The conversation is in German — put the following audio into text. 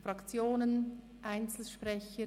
Fraktionen, Einzelsprecher?